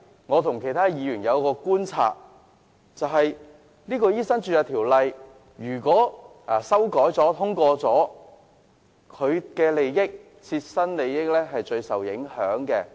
我和其他議員觀察所得，是如果《醫生註冊條例草案》提出的修訂獲得通過，他的切身利益會受最大影響。